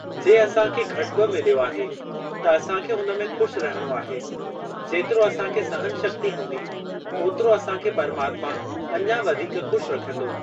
जे असांखे घटि बि मिलियो आहे त असांखे हुन में खु़शि रहिणो आहे जेतिरो असांखे सहन शक्ती हूंदी ओतिरो असांखे परमात्मा अञां वधीक खु़शि रखंदो।